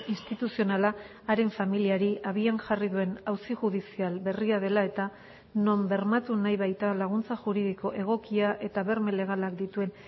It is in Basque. instituzionala haren familiari abian jarri duen auzi judizial berria dela eta non bermatu nahi baita laguntza juridiko egokia eta berme legalak dituen